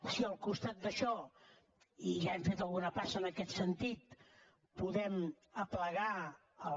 si al costat d’això i ja hem fet alguna passa en aquest sentit podem aplegar els